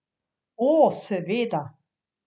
O, seveda.